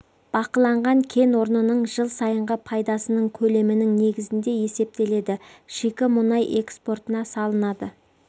бақыланған кен орнының жыл сайынғы пайдасынын көлемінің негізінде есептеледі шикі мұнай экспортына салынады